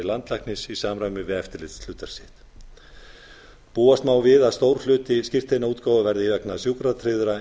landlæknis í samræmi við eftirlitshlutverk sitt búast má við að stór hluti skírteinaútgáfu verði vegna sjúkratryggðra